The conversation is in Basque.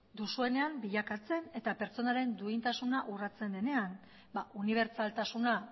duzuenean bilakatzen eta pertsonaren duintasuna urratzen denean ba unibertsaltasuna